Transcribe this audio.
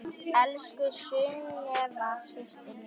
Elsku Sunneva systir mín.